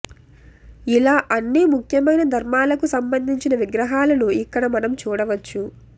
ఇలా అన్ని ముఖ్యమైన ధర్మాలకు సంబంధించిన విగ్రహాలను ఇక్కడ మనం చూడవచ్చు